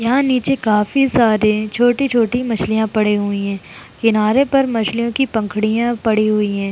यहाँ नीचे काफी सारे छोटी-छोटी मछलियां पड़े हुई हैं। किनारे पर मछलियों की पखुड़ियां पड़ी हुई हैं।